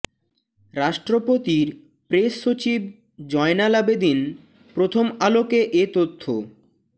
রাষ্ট্রপতির প্রেস সচিব জয়নাল আবেদীন প্রথম আলোকে এ তথ্য